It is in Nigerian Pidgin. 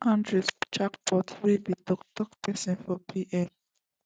audrey champoux wey be di toktok pesin for pm